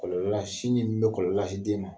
Kɔlɔlɔ la sinji min bɛ kɔlɔlɔ lase den ma.